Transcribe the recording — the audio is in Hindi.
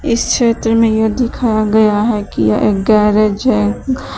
इस चित्र में यह दिखाया गया है कि यह एक गैरेज है।